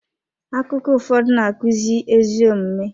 Akụkọ ụfọdụ na-akụzi ezi omume.